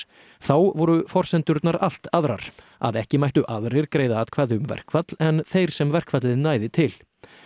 þá voru forsendurnar allt aðrar að ekki mættu aðrir greiða atkvæði um verkfall en þeir sem verkfallið næði til